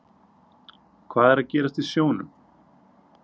Hvað er að gerast í sjónum?